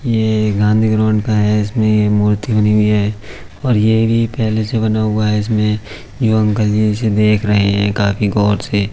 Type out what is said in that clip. ये एक गाँघी ग्राउंड का है। इसमे ये मूर्ति बनी हुई है और ये भी पहले से बना हुआ है। इसमे यो अंकल जी यही से देख रहे है काफी गौर से।